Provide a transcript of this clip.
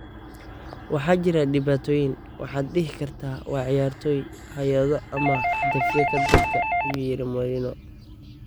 'Waxaa jira dhibaatooyin; waxaad dhihi kartaa waa ciyaartoy, hay'ado ama hadafyada dadka" ayuu yiri Mourinho.